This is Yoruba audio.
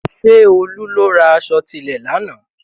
Ṣé Olú lọ ra aṣọ tilẹ̀ lánàá?